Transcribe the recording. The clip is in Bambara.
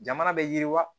Jamana bɛ yiriwa